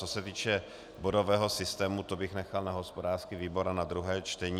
Co se týče bodového systému, to bych nechal na hospodářský výbor a na druhé čtení.